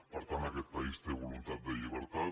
per tant aquest país té voluntat de llibertat